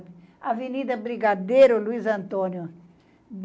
É. Avenida Brigadeiro Luiz Antônio.